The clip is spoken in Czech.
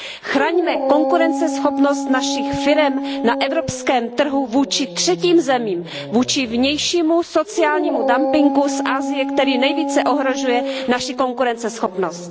Chraňme konkurenceschopnost našich firem na evropském trhu vůči třetím zemím, vůči vnějšímu sociálnímu dumpingu z Asie, který nejvíce ohrožuje naši konkurenceschopnost.